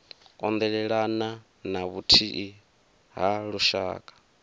kondelelana na vhuthihi ha lushaka